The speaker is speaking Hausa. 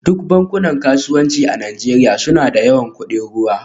Duk bankunan kasuwanci a Najeriya suna da yawan kudin ruwa